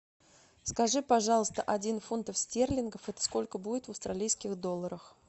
скажи пожалуйста один фунтов стерлингов это сколько будет в австралийских долларах